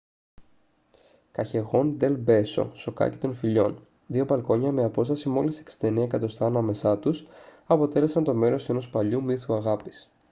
καγιεχόν ντελ μπέσο σοκάκι των φιλιών. δύο μπαλκόνια με απόσταση μόλις 69 εκατοστά ανάμεσά τους αποτέλεσαν το μέρος ενός παλιού μύθου αγάπης